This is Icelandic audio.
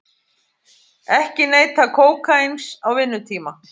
Ekki neyta kókaíns á vinnutíma